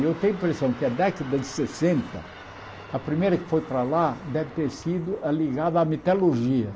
Eu tenho a impressão que a década de sessenta, a primeira que foi para lá deve ter sido ligada à metalurgia.